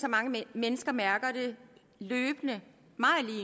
at mange mennesker mærker det løbende